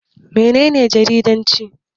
Mene ne jaridanci?